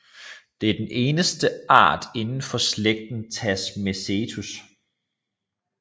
Det er den eneste art indenfor slægten Tasmacetus